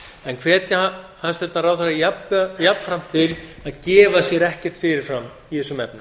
en hvetja hæstvirtan ráðherra jafnframt til að gefa sér ekkert fyrir fram í þessum efnum